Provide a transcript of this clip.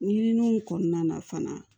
Ɲininiw kɔnɔna na fana